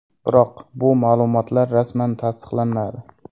Biroq bu ma’lumotlar rasman tasdiqlanmadi.